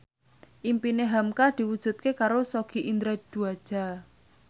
impine hamka diwujudke karo Sogi Indra Duaja